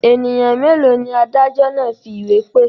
Ènìyàn mélòó ni adájọ́ náà fi ìwé pè?